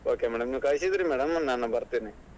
Okay madam ನೀವ್ ಕಳಿಸಿದ್ರೆ ನಾನ್ ಬರ್ತೇನೆ.